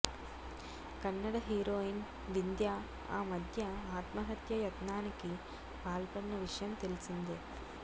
Kannada heroine Vindhya ఆమధ్య ఆత్మహత్య యత్ననానికి పాల్పడిన విషయం తెలిసిందే